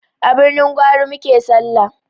A birnin gwari muke sallah